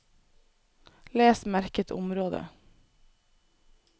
Les merket område